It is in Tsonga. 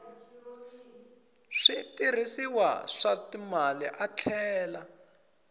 switirhisiwa swa timali a tlhela